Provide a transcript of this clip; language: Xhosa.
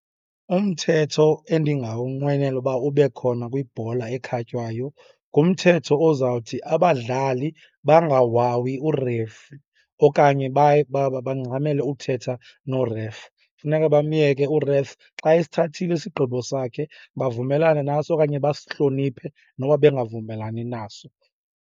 Umthetho endingawunqwenela uba ube khona kwibhola ekhatywayo ngumthetho ozawuthi, abadlali bangawawi u-referee okanye bangxamele uthetha no-ref. Kufuneka bamyeke u-ref. Xa esithathile isigqibo sakhe, bavumelane naso okanye basihloniphe noba bengavumelani naso.